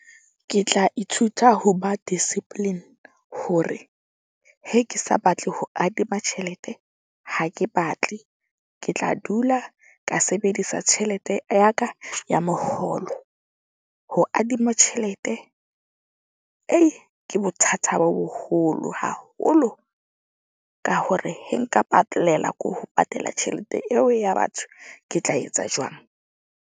Ke tla ithuta ho ba discipline hore he ke sa batle ho adima tjhelete, ha ke batle. Ke tla dula ka sebedisa tjhelete ya ka ya moholo ho adima tjhelete, ke bothata bo boholo haholo. Ka hore he nka patalela ko ho patela tjhelete eo ya batho. Ke tla etsa jwang?